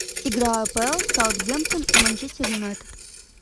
игра апл саутгемптон и манчестер юнайтед